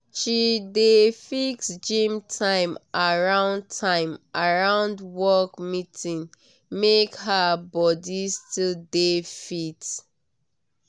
she dey fix gym time around time around work meeting make her body still dey fit.